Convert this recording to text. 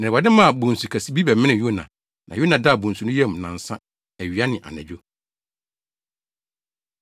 Na Awurade maa bonsu kɛse bi bɛmenee Yona, na Yona daa bonsu no yam nnansa, awia ne anadwo.